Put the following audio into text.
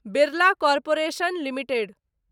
Birla corporation limited